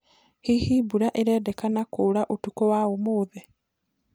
hĩhĩ mbura irendekana kũuraũtũkũ wa umuthi